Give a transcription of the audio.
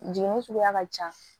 Jiginni suguya ka ca